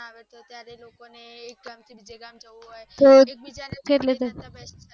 આવતો ત્યારે લોકોને એક ગામ થી બીજે ગામ જવુ હોય